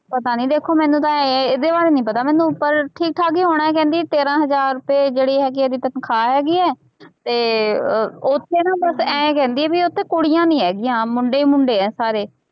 ਪਤਾ ਨੀ ਦੇਖੋ ਮੈਨੂੰ ਤਾਂ ਇਹ ਇਹਦੇ ਬਾਰੇ ਨੀ ਪਤਾ ਮੈਨੂੰ ਪਰ ਠੀਕ ਠਾਕ ਹੀ ਹੋਣਾ ਹੈ ਕਹਿੰਦੀ ਤੇਰਾਂ ਹਜ਼ਾਰ ਰੁਪਏ ਜਿਹੜੀ ਹੈਗੀ ਹੈ ਇਹਦੀ ਤਨਖਾਹ ਹੈਗੀ ਹੈ ਤੇ ਅਹ ਉੱਥੇ ਨਾ ਬਸ ਇਉਂ ਕਹਿੰਦੀ ਹੈ ਵੀ ਉੱਥੇ ਕੁੜੀਆਂ ਨੀ ਹੈਗੀਆਂ ਮੁੰਡੇ ਹੀ ਮੁੰਡੇ ਹੈ ਸਾਰੇ।